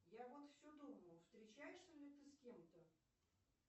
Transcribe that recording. я вот все думаю встречаешься ли ты с кем то